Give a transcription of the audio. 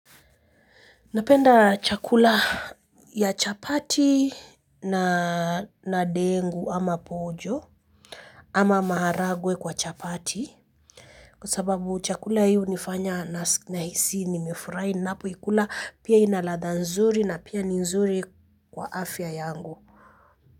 Napenda chakula ya chapati na dengu ama pojo ama maharagwe kwa chapati. Kwa sababu chakula hiki kinanifanya nihisi nimeshiba na furaha, na pia kina ladha nzuri na ni kizuri kwa afya yangu.